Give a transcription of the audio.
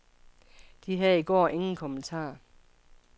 De havde i går ingen kommentarer.